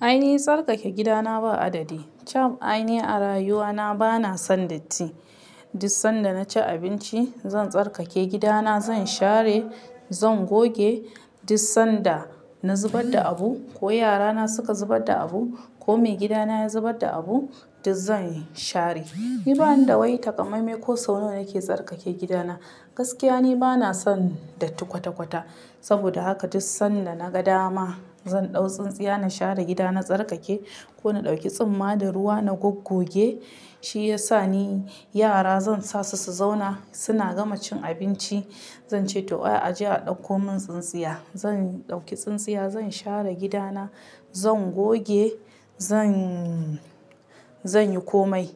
Aini tsarkake gidana ba adadi. Aini a rayuwa na bana son datti. Duk san da naci abinci zan tsarkake gidana, zan share, zan goge. Duk san da na zubar da abu ko yara na suka zubar da abu ko maigidana ya zubar da abu, duk zan share. Banda wai takamaimai ko sau nawa na ke tsarkake gida na. Gaskiya ni bana son datti kwata-kwata. Sabida haka duk san da naga dama zan ɗau tsintsiya na share gida na tsarkake ko na ɗauki tsumma da ruwa na goggoge, shi yasa ni yara zan sa su, su zauna. Su na gama cin abinci zan ce to "oya aje a ɗauko mun tsintsiya". Zan ɗauki tsintsiya zan share gida na, zan goge zan, zan yi komai.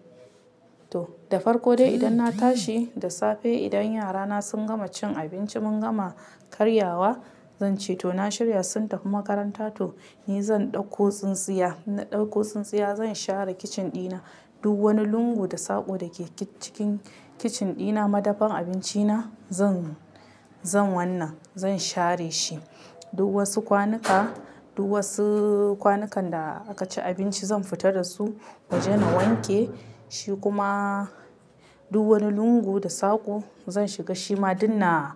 To, da farko dai idan na tashi, da safe idan yara na sun gama cin abinci mun gama karyawa zan ce to "na shirya sun tafi makaranta to ni zan ɗauko tsintsiya". Na ɗauko tsintsiya zan share kicin ɗina. Duk wani lungu da saƙo da ke cikin kicin ɗina, madafan abinci na zan, zan wannan, zan share shi. Duk wasu kwanuka, duk wasu kwanukan da aka ci abinci zan fita da su waje na wanke shi kuma duk wani lungu da saƙo zan shiga shima duk na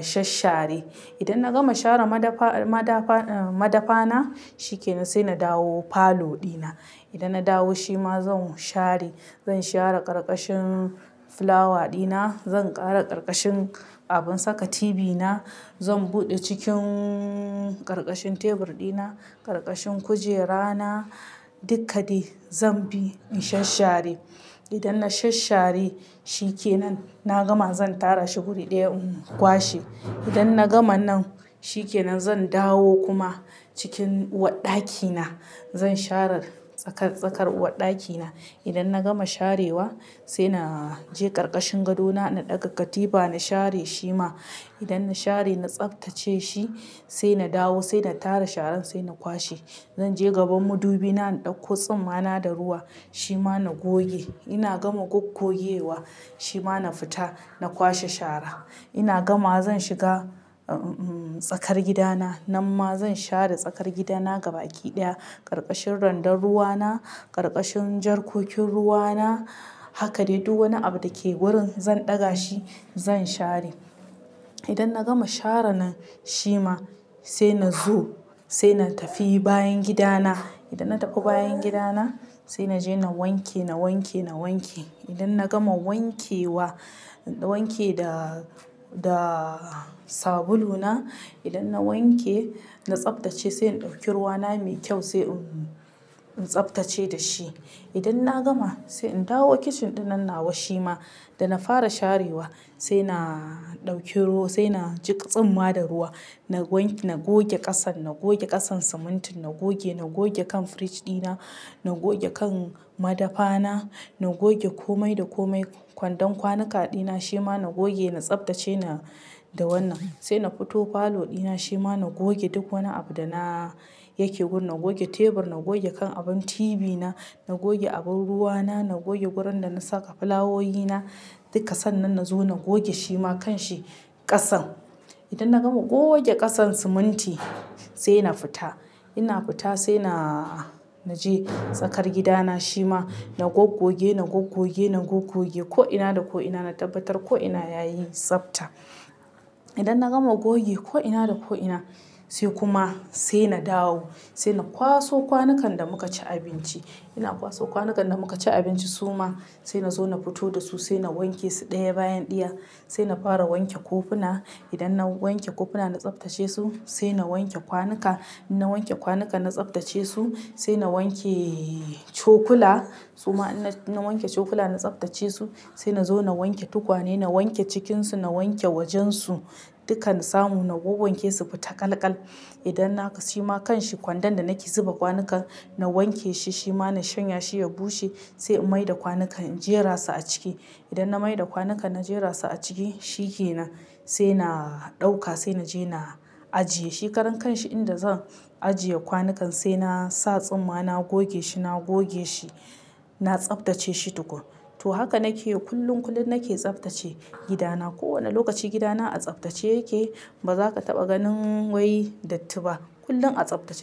shashshare. Idan na gama share madafa, madafa, ahm, madafa na, shikenan sai na dawo falo ɗina. Idan na dawo shi ma zan share. Zan share ƙarƙashin fulawa ɗina, zan ƙara ƙarƙashin abin saka tibi na, zan buɗe cikin ƙarƙashin tebur ɗina, ƙarƙashin kujera na, dukkadai zan bi in shashshare. Idan na shashshare shinkenan, na gama zan tara shi guri ɗaya in kwashe. Idan na gama nan shikenan zan dawo kuma cikin uwarɗaki na. Zan share tsakar, tsakar uwarɗaki na. Idan na gama sharewa sai na je ƙarƙashin gado na, na ɗaga katifa na share shi ma. Idan na share, na tsaftace shi sai na dawo, sai na tara sharan sai na kwashe. Zan je gaban madubi na, na ɗauko tsumma na da ruwa shi ma na goge. Ina gama goggogewa shi ma na fita na kwashe shara. Ina gamawa zan shiga, ahm, tsakar gidana. Nan ma zan share tsakar gida na gaba ki ɗaya. Ƙarƙashin randan ruwa na, ƙarƙashin jarkokin ruwa na, haka dai duk wani abu da ke wurin zan ɗaga shi zan share. Idan na gama share nan shi ma sai na zo sai na tafi bayan gida na. Idan na tafi bayan gida na sai na je na wanke, na wanke, na wanke. Idan na gama wanke wa, wanke da, da sabulu na, idan na wanke, na tsaftace sai in ɗauki ruwa na mai kyau sai in, in tsaftace da shi. Idan na gama sai in dawo kicin ɗinnan nawa shi ma. Da na fara sharewa sai na ɗauki ru-- sai na jiƙa tsumma da ruwa. Na wanke, na goge ƙasan, na goge ƙasan simintin na goge. Na goge kan fridge ɗina, na goge kan madafa na, na goge komai da komai. Kwandon kwanuka ɗina shima na goge, na tsaftace da wannan. Sai na fito falo ɗina shi ma na goge duk wani abu da na yake gun. Na goge tebur, na goge kan abin tibi na, na goge abin ruwa na, na goge gurin da na saka fulawoyi na. Dukka sannan na zo na goge shi ma kan shi ƙasan. Idan na gama goge kasan siminti sai na fita. Ina fita sai na, na je tsakar gida na shi ma na goggoge, na goggoge, na goggoge ko'ina da ko'ina na tabbatar ko'ina yayi tsafta. Idan na gama goge ko'ina da ko'ina sai kuma sai na dawo. Sai na kwaso kwanukan da muka ci abinci. Ina kwaso kwanukan da muka ci abinci suma sai na zo na fito da su sai na wanke su ɗaya bayan ɗaya. Sai na fara wanke kofuna. Idan na wanke kofuna na tsaftace su sai na wanke kwanuka. Na wanke kwanuka na tsabtace su sai na wanke cokula. Suma in, na wanke cokula na tsaftace su sai na zo na wanke tukwane, na wanke cikinsu, na wanke wajensu, dukkana samu na wawwanke su fita ƙal-ƙal. Idan naga shi ma kanshi kwandon da nake zuba kwanuka na wanke shi, shi ma na shanya shi ya bushe sai in maida kwanukan in jera su a ciki. Idan na maida kwanukan na jera su a ciki shikenan sai na ɗauka sai na je na ajiye shi. Karan kanshi inda zan ajiye kwanukan sai na sa tsumma na goge shi, na goge shi, na tsaftace shi tukun. To haka nake yi kullum, kullum nake tsaftace gidana. Ko wane lokaci gidana a tsaftace yake. Ba za ka taɓa ganin wai datti ba. Kullum a tsaftace yake.